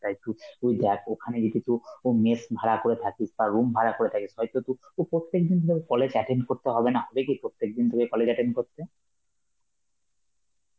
তাই তুই~ তুই দেখ ওখানে যদি কিছু ও mess ভাড়া করে থাকিস বা room ভাড়া করে থাকিস, হয়তো তুই~ তুই প্রত্যেকদিন তোকে college attain করতে হবে না, ওটা কি প্রত্যেকদিন তোকে college attain করতে?